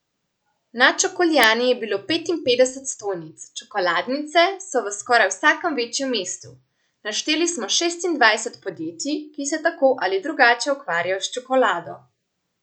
Na Čokoljani je bilo petinpetdeset stojnic, čokoladnice so v skoraj vsakem večjem mestu, našteli smo šestindvajset podjetij, ki se tako ali drugače ukvarjajo s čokolado ...